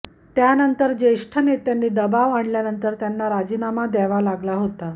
त्यानंतर ज्येष्ठ नेत्यांनी दबाव आणल्यानंतर त्यांना राजीनामा द्यावा लागला होता